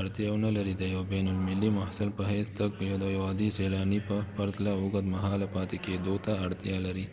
اړتیا ونلرې د یو بین المللي محصل په حیث تګ د یو عادي سیلاني په پرتله اوږد مهاله پاتې کیدو ته اړتیا لري